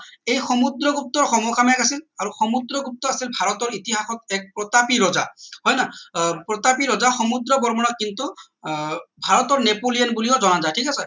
এই সমুদ্ৰগুপ্তৰ সম সাময়িক আছিল আমি সমুদ্ৰগুপ্ত আছিল ভাৰতৰ ইতহাসত এক প্ৰতাপী ৰজা হয় নহয় আহ প্ৰতাপী ৰজা সমুদ্ৰ বৰ্মনৰ কিন্তু আহ ভাৰতৰ নেপোলিয়ন বুলিও জনা যায় ঠিক আছে